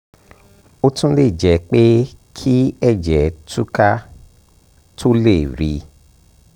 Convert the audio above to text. ó tún lè jẹ́ pé kí ẹ̀jẹ̀ tú ká tó lè rí i